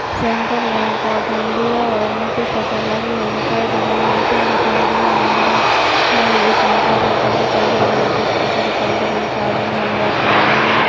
Central Bank of India और नीचे shutter लगे हुए दिखाई दे रहे हैं मीटर दिखाई दे रहा है और एक मोटर साइकल दिखाई दे रही एक स्कूटी दिखाई दे रही है एक आदमी हेलमेट लगाए हुए है।